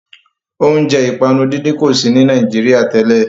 Óúnjẹ ìpanu dídín kò sí ní Nàìjíría tẹ́lẹ̀